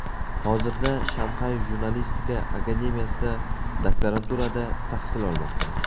Hozirda Shanxay jurnalistika akademiyasida doktoranturada tahsil olmoqda.